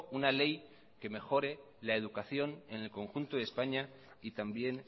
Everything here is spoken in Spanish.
una ley que mejore la educación en el conjunto de españa y también